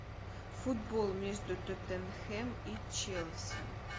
футбол между тоттенхэм и челси